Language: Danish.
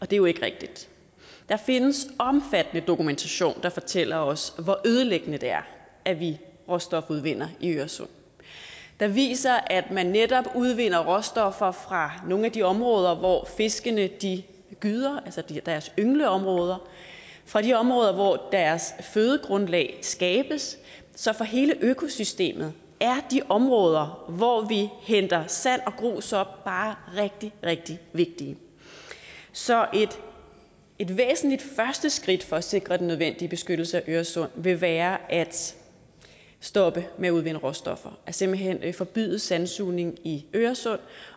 det er jo ikke rigtigt der findes omfattende dokumentation der fortæller os hvor ødelæggende det er at vi råstofudvinder i øresund der viser at man netop udvinder råstoffer fra nogle af de områder hvor fiskene gyder altså deres yngleområder fra de områder hvor deres fødegrundlag skabes så for hele økosystemet er de områder hvor vi henter sand og grus op bare rigtig rigtig vigtige så et væsentligt første skridt for at sikre den nødvendige beskyttelse af øresund vil være at stoppe med at udvinde råstoffer simpelt hen forbyde sandsugning i øresund